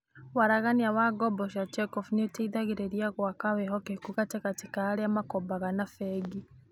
Waragania wa ngombo cia check-off nĩ ũteithagia gwaka wĩhokeku gatagatĩ ka arĩa makombaga na bengi.